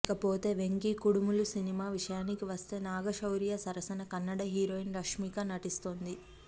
ఇకపోతే వెంకీ కుడుములు సినిమా విషయానికి వస్తే నాగ శౌర్య సరసన కన్నడ హీరోయిన్ రష్మిక నటిస్తుంది